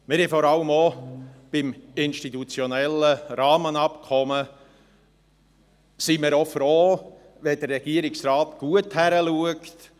Wir sind vor allem beim institutionellen Rahmenabkommen auch froh, wenn der Regierungsrat gut hinschaut.